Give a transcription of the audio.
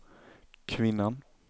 kvinnan